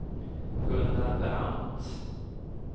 Gunnar Brandt